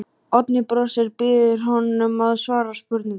Oddný brosir, býður honum að svara spurningunni.